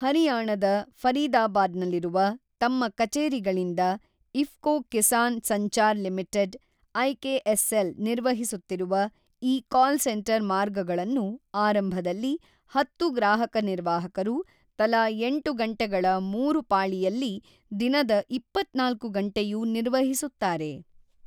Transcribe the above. ಹರಿಯಾಣದ ಫರೀದಾಬಾದ್ನಲ್ಲಿರುವ ತಮ್ಮ ಕಚೇರಿಗಳಿಂದ ಇಫ್ಕೊ ಕಿಸಾನ್ ಸಂಚಾರ್ ಲಿಮಿಟೆಡ್ ಐಕೆಎಸ್ಎಲ್ ನಿರ್ವಹಿಸುತ್ತಿರುವ ಈ ಕಾಲ್ ಸೆಂಟರ್ ಮಾರ್ಗಗಳನ್ನು ಆರಂಭದಲ್ಲಿ ಹತ್ತು ಗ್ರಾಹಕ ನಿರ್ವಾಹಕರು ತಲಾ ಎಂಟು ಗಂಟೆಗಳ ಮೂರು ಪಾಳಿಯಲ್ಲಿ ದಿನದ ಇಪ್ಪತ್ತ್ನಾಲ್ಕು ಗಂಟೆಯೂ ನಿರ್ವಹಿಸುತ್ತಾರೆ.